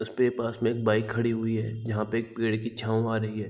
उसपे पांच लोग बाइक खड़ी हुई है जहां पे एक पेड़ की छाव आ रही है।